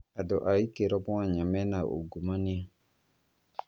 Andũ a ikĩro mwanya mena uungumania